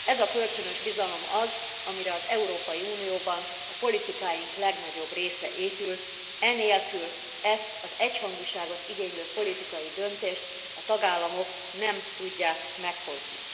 Ez a kölcsönös bizalom az, amire az Európai Unióban a politikáink legnagyobb része épül, e nélkül ezt az egyhangúságot igénylő politikai döntést a tagállamok nem tudják meghozni.